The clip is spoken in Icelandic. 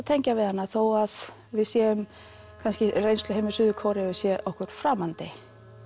tengja við hana þó að við séum kannski reynsluheimur Suður Kóreu sé okkur framandi